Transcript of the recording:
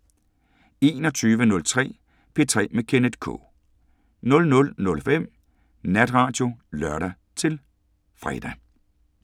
21:03: P3 med Kenneth K 00:05: Natradio (lør-fre)